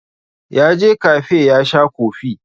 Ya je kafe ya sha kofi.